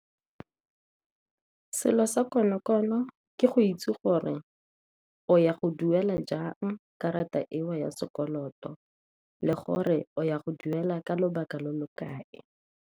Selo sa konokono ke go itse gore o ya go duela jang karata eo ya sekoloto, le gore o ya go duela ka lobaka lo lo kae.